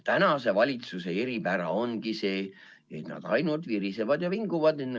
Praeguse valitsuse eripära ongi see, et nad ainult virisevad ja vinguvad.